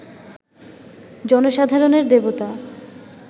জনসাধারণের দেবতা